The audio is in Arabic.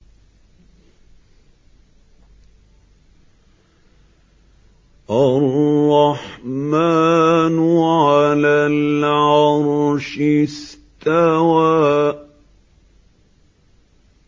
الرَّحْمَٰنُ عَلَى الْعَرْشِ اسْتَوَىٰ